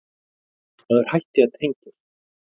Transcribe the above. Maður hætti að tengjast.